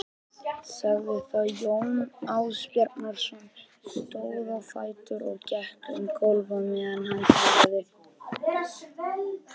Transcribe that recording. sagði þá Jón Ásbjarnarson, stóð á fætur og gekk um gólf á meðan hann talaði